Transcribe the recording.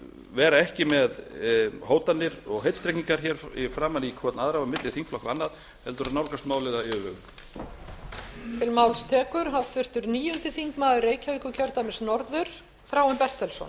vera ekki með hótanir og heitstrengingar hér framan í hver annan og milli þingflokka og annað heldur að nálgast málið af yfirvegun